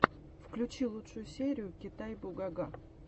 включи лучшую серию китай бугага